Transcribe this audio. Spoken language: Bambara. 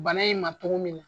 Bana in ma togo min na.